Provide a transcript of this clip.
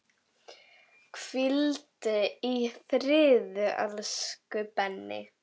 Hvíldu í friði, elsku Benni.